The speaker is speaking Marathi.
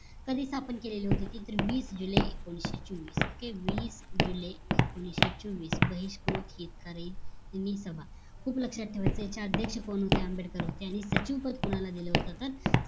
कधी स्थापन केलेली होती तर वीस जून एकोणीशे चोवीस OKAY वीस जुलै एकोणीशे चोवीस बहिष्कृत हितकारी सभा खूप लक्ष्यात ठेवायचं याचे अध्याक्ष कोण होते आंबेडकर आणि सचिव पद कोणाला दिल होत तर